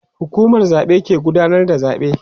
hukumar zaɓe ke gudanar da zaɓe